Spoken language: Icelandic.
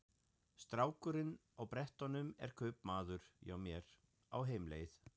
Strákurinn á brettunum er kaupamaður hjá mér, á heimleið.